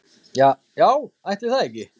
Ja já ætli það ekki.